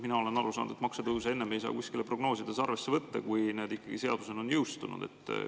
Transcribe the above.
Mina olen aru saanud, et maksutõuse ei saa enne kuskil prognoosides arvesse võtta, kui need on seadusena jõustunud.